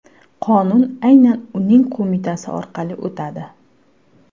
Qonun aynan uning qo‘mitasi orqali o‘tadi.